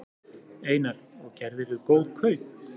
Einar: Og gerðirðu góð kaup?